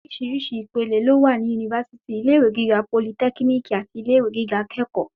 Oríṣìíríṣìí ìpele ló wà ní yunifásítì, ilé ìwé gíga politẹ́kínìkì àti ilé ìwé gíga akẹ́kọ̀ọ́.